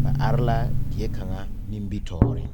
ba arẽ la deɛ kanga nimbitoɔring.